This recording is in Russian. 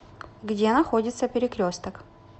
где находится перекресток